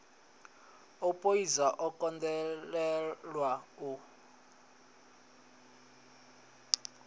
o poidza o kundelwa u